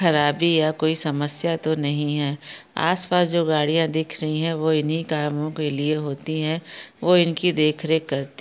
खराबी या कोई समस्या तो नहीं है आसपास जो गाड़िया दिख रही है वो इन्ही कामों के लिए होती है वो इनकी देखरेख करती--